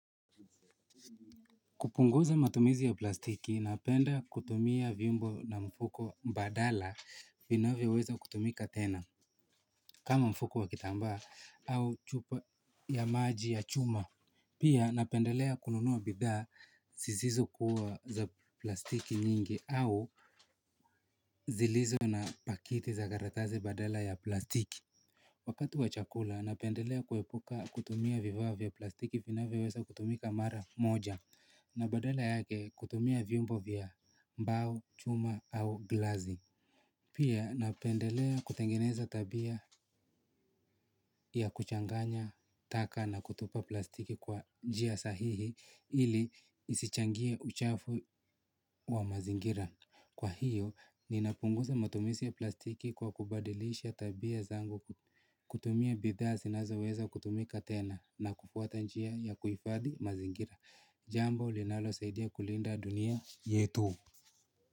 Kupunguza matumizi ya plastiki napenda kutumia vimbo na mfuko badala vinavyoweza kutumika tena kama mfuko wa kitambaa au chupa ya maji ya chuma. Pia napendelea kununuwa bidhaa zisizokuwa za plastiki nyingi au zilizo na pakiti za karatasi badala ya plastiki. Wakati wa chakula, napendelea kuepuka kutumia vifaa vya plastiki vinaweweza kutumika mara moja na badala yake kutumia vyombo vya mbao, chuma au glasi. Pia napendelea kutengeneza tabia ya kuchanganya, taka na kutupa plastiki kwa njia sahihi ili isichangie uchafu wa mazingira. Kwa hiyo, ninapunguza matumisi ya plastiki kwa kubadilisha tabia zangu kutumia bidhaa sinazoweza kutumika tena na kufuata njia ya kuhifadhi mazingira. Jambo linalosaidia kulinda dunia yetu.